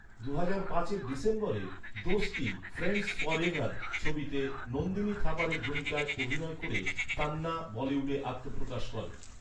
দুহাজার পাঁচের ডিসেম্বরে 'দোস্তি ফ্রেণ্ডস ফরেভার' ছবিতে নন্দিনী থাপারের ভূমিকায় অভিনয় করে তান্না বলিউডে আত্মপ্রকাশ করেন।